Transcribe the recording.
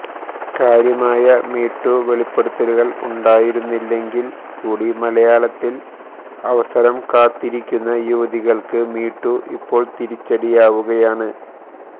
കാര്യമായ മീടൂ വെളിപ്പെടുത്തലുകള് ഉണ്ടായിരുന്നില്ലെങ്കില് കൂടി മലയാളത്തില് അവസരം കാത്തിരിക്കുന്ന യുവതികള്ക്ക് മീടൂ ഇപ്പോള് തിരിച്ചടിയാവുകയാണ്